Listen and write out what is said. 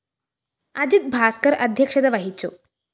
അജിത് ഭാസ്‌കര്‍ അദ്ധ്യക്ഷത വഹിച്ചു